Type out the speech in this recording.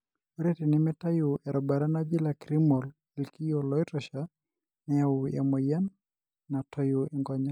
ore tenimitayu erubata najii lacrimal ilkiyo loitosha, neyau emoyian natoyu nkonyek.